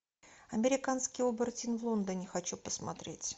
американский оборотень в лондоне хочу посмотреть